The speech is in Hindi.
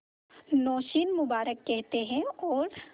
नौशीन मुबारक कहते हैं और